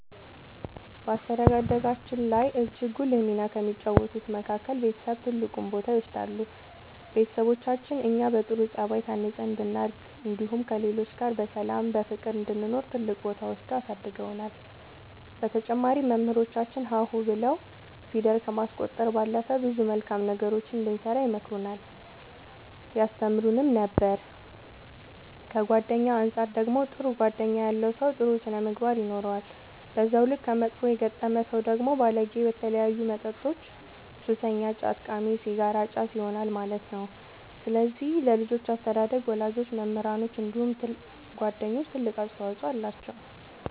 በአስተዳደጋችን ላይ እጅግ ጉልህ ሚና ከተጫወቱት መካከል ቤተሰብ ትልቁን ቦታ ይወስዳሉ ቤተሰቦቻችን እኛ በጥሩ ጸባይ ታንጸን እንድናድግ እንዲሁም ከሌሎች ጋር በሰላም በፍቅር እንድንኖር ትልቅ ቦታ ወስደው አሳድገውናል በተጨማሪም መምህራኖቻችን ሀ ሁ ብለው ፊደል ከማስቆጠር ባለፈ ብዙ መልካም ነገሮችን እንድንሰራ ይመክሩን ያስተምሩን ነበር ከጓደኛ አንፃር ደግሞ ጥሩ ጓደኛ ያለው ሰው ጥሩ ስነ ምግባር ይኖረዋል በዛው ልክ ከመጥፎ የገጠመ ሰው ደግሞ ባለጌ በተለያዩ መጠጦች ሱሰኛ ጫት ቃሚ ሲጋራ አጫሽ ይሆናል ማለት ነው ስለዚህ ለልጆች አስተዳደግ ወላጆች መምህራኖች እንዲሁም ጓደኞች ትልቅ አስተዋፅኦ አላቸው።